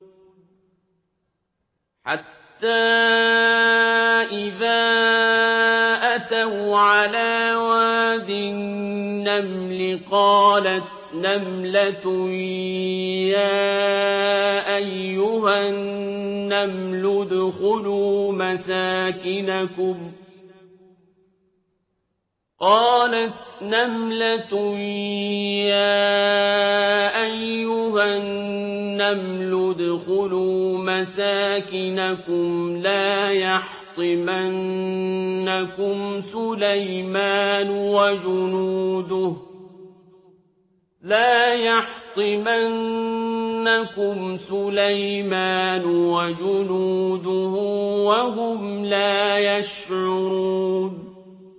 حَتَّىٰ إِذَا أَتَوْا عَلَىٰ وَادِ النَّمْلِ قَالَتْ نَمْلَةٌ يَا أَيُّهَا النَّمْلُ ادْخُلُوا مَسَاكِنَكُمْ لَا يَحْطِمَنَّكُمْ سُلَيْمَانُ وَجُنُودُهُ وَهُمْ لَا يَشْعُرُونَ